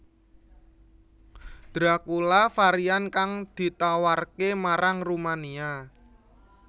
Dracula varian kang ditawarke marang Rumania